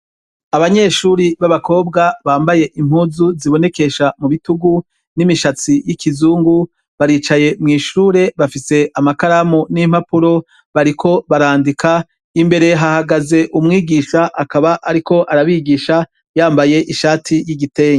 Abanyeshure b'abakobwa bambaye impuzu zibonekesha mubutugu n'imishatsi yikizugu baricaye mw'ishure bafise amakaramu n'impapuro bariko barandika, imbere hahagaze umwigisha akaba ariko arabigisha yambaye ishati y'igitege.